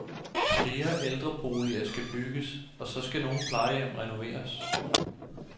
Flere ældreboliger skal bygges, og så skal nogle plejehjem renoveres.